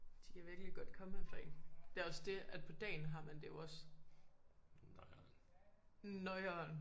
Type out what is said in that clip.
Det kan virkelig godt komme efter en det også dét at på dagen har man det jo også noieren!